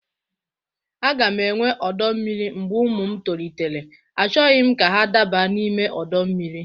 A ga m enwe ọdọ mmiri mgbe ụmụ m tolitere; Achọghị m ka ha daba n'ime ọdọ mmiri.